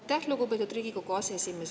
Aitäh, lugupeetud Riigikogu aseesimees!